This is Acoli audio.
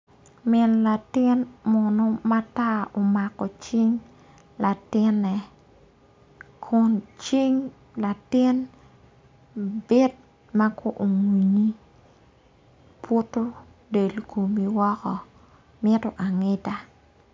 Min latin munu matar omako cing latine kun cing latin bit mako puto del komi woko ngido angida.